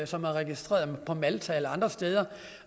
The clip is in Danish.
som er registreret på malta eller andre steder